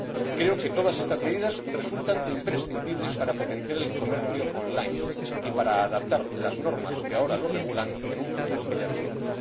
Creo que todas estas medidas resultan imprescindibles para potenciar el comercio en línea y para adaptar las normas que ahora lo regulan en un futuro que ya vivimos.